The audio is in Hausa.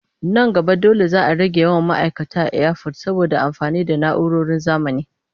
Nan gaba dole za a rage yawan ma'aikata a iyafot saboda amfani da na'uroron zamani.